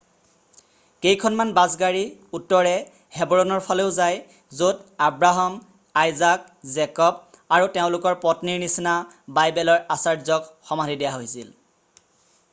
কেইখনমান বাছ গাড়ী উত্তৰে হেবৰণৰ ফালেও যায় য'ত আব্ৰাহাম আইজাক জেকব আৰু তেওঁলোকৰ পত্নীৰ নিচিনা বাইবেলৰ আচাৰ্যক সমাধি দিয়া হৈছিল